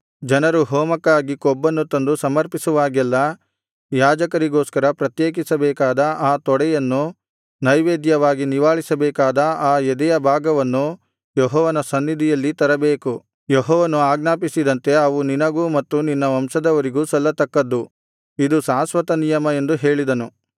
ಜನರು ಹೋಮಕ್ಕಾಗಿ ಕೊಬ್ಬನ್ನು ತಂದು ಸಮರ್ಪಿಸುವಾಗೆಲ್ಲಾ ಯಾಜಕರಿಗೋಸ್ಕರ ಪ್ರತ್ಯೇಕಿಸಬೇಕಾದ ಆ ತೊಡೆಯನ್ನು ನೈವೇದ್ಯವಾಗಿ ನಿವಾಳಿಸಬೇಕಾದ ಆ ಎದೆಯ ಭಾಗವನ್ನು ಯೆಹೋವನ ಸನ್ನಿಧಿಯಲ್ಲಿ ತರಬೇಕು ಯೆಹೋವನು ಆಜ್ಞಾಪಿಸಿದಂತೆ ಅವು ನಿನಗೂ ಮತ್ತು ನಿನ್ನ ವಂಶದವರಿಗೂ ಸಲ್ಲತಕ್ಕದ್ದು ಇದು ಶಾಶ್ವತನಿಯಮ ಎಂದು ಹೇಳಿದನು